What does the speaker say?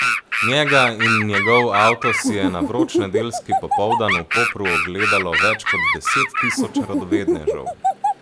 Njega in njegov avto si je na vroč nedeljski popoldan v Kopru ogledalo več kot deset tisoč radovednežev.